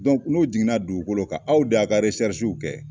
n'u jiginna dugukolo kan aw de y'a ka kɛ